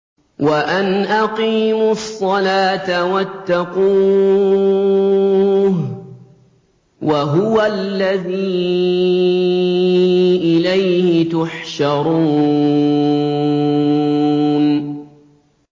وَأَنْ أَقِيمُوا الصَّلَاةَ وَاتَّقُوهُ ۚ وَهُوَ الَّذِي إِلَيْهِ تُحْشَرُونَ